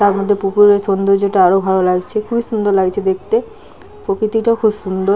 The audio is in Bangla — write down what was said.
তার মধ্যে পুকুরের সৌন্দর্য টা আরো ভালো লাগছে খুবই সুন্দর লাগছে দেখতে প্রকৃতিটাও খুবই সুন্দর।